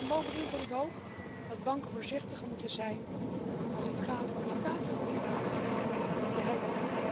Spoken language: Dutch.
Bovendien vind ik dat banken voorzichtiger moeten zijn als het gaat om de staatsobligaties die ze hebben.